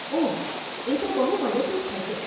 ઓહ, એ તો બહુ મદદરૂપ થશે.